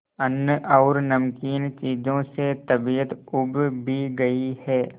अन्न और नमकीन चीजों से तबीयत ऊब भी गई है